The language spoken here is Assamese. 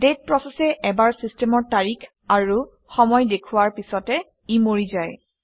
ডেট প্ৰচেচে এবাৰ চিষ্টেমৰ তাৰিখ আৰু সময় দেখুওৱাৰ পিছতে ই মৰি যায়